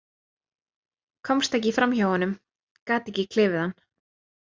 Komst ekki fram hjá honum, gat ekki klifið hann.